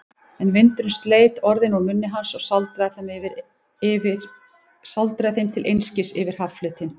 En vindurinn sleit orðin úr munni hans og sáldraði þeim til einskis yfir hafflötinn.